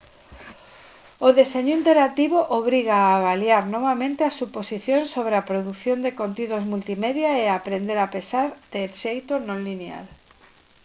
o deseño interactivo obriga a avaliar novamente as suposicións sobre a produción de contidos multimedia e a aprender a pensar de xeito non lineal